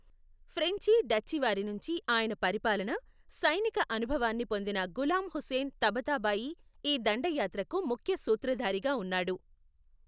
ఫ్రెంచి, డచ్చి వారి నుంచి ఆయన పరిపాలనా, సైనిక అనుభవాన్ని పొందిన గులాం హుస్సేన్ తబతాబాయి ఈ దండయాత్రకు ముఖ్య సూత్రధారిగా ఉన్నాడు.